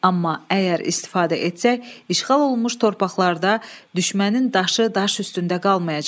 Amma əgər istifadə etsək, işğal olunmuş torpaqlarda düşmənin daşı daş üstündə qalmayacaq.